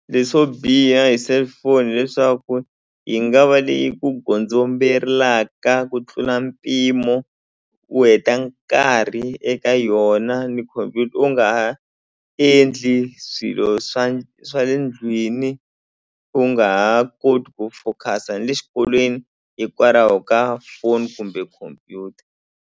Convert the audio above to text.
Leswo biha hi cellphone hileswaku yi nga va leyi yi ku gondzombelaka ku tlula mpimo u heta nkarhi eka yona ni khompyuta u nga ha endli swilo swa swa le ndlwini u nga ha koti ku focus-a ni le xikolweni hikwalaho ka phone kumbe khomphyuta.